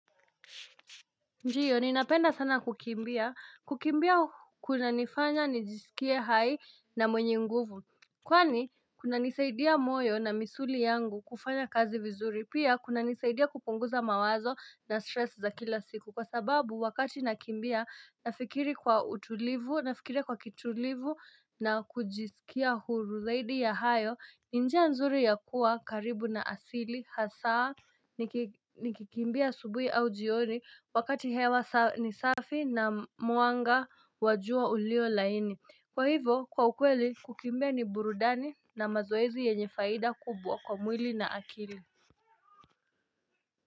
Njiyo, ninapenda sana kukimbia. Kukimbia, kunanifanya, nijisikie hai na mwenye nguvu. Kwani, kuna nisaidia moyo na misuli yangu kufanya kazi vizuri. Pia, kunanisaidia kupunguza mawazo na stress za kila siku. Kwa sababu, wakati nakimbia, nafikiri kwa utulivu, nafikiria kwa kitulivu na kujisikia huru. Zaidi ya hayo. Ni njia nzuri ya kuwa karibu na asili hasaa nikikimbia asubuhi au jioni wakati hewa ni safi na mwanga wa jua ulio laini. Kwa hivyo kwa ukweli kukimbia ni burudani na mazoezi yenye faida kubwa kwa mwili na akili.